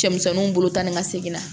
Cɛmisɛnninw bolo tan ni ka segin na